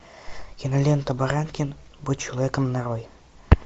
кинолента баранкин будь человеком нарой